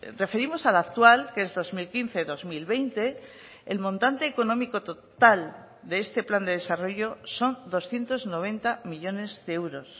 referimos al actual que es dos mil quince dos mil veinte el montante económico total de este plan de desarrollo son doscientos noventa millónes de euros